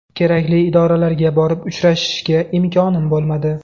Kerakli idoralarga borib uchrashishga imkonim bo‘lmadi.